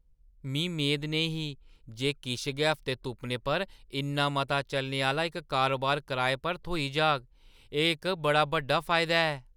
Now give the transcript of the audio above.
मी मेद नेईं ही जे किश गै हफ्ते तुप्पने पर इन्ना मता चलने आह्‌ला इक कारोबार कराए पर थ्होई जाग, एह् इक बड़ा बड्डा फायदा ऐ।